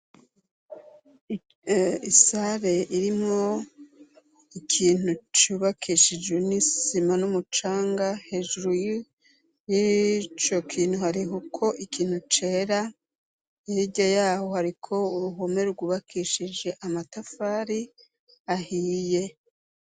Isare irimo ikintu cubakishije nisima n'umucanga hejuru y'ico kintu hariho ko ikintu cera yige yaho hariko uruhome rwubakishije amatafari ahiye.